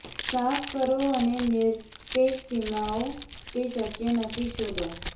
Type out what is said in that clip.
સાફ કરો અને નિરપેક્ષ સીમાઓ તે શક્ય નથી શોધો